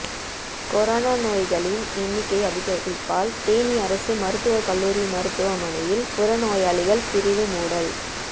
corona நோயாளிகளின் எண்ணிக்கை அதிகரிப்பால் தேனி அரசு மருத்துவக் கல்லூரி மருத்துவமனையில் புறநோயாளிகள் பிரிவு மூடல்